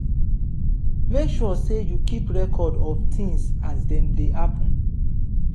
make sure sey you keep record of things as dem dey happen